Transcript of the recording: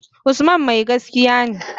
Usman mai gaskiya ne.